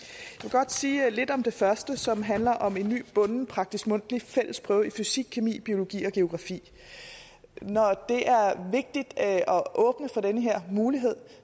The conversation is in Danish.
godt sige lidt om det første som handler om en ny bunden praktisk mundtlig fælles prøve i fysikkemi biologi og geografi når det er vigtigt at åbne for den her mulighed